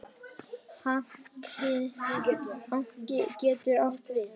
Hnakki getur átt við